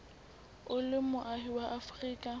o le moahi wa afrika